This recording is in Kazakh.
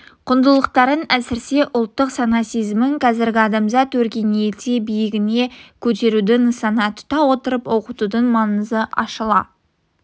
құндылықтарын әсірсе ұлттық сана-сезімін қазіргі адамзат өркениеті биігіне көтеруді нысана тұта отырып оқытудың маңызы ашыла